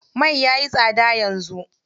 Mai yayi tsada yanzu.